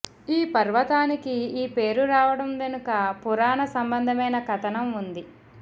ఈ పర్వతానికి ఈ పేరు రావడం వెనుక పురాణ సంబంధమైన కథనం వుంది